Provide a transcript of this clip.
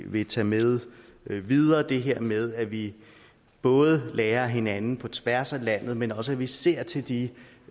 vil tage med videre altså det her med at vi både lærer af hinanden på tværs af landet men også at vi ser til de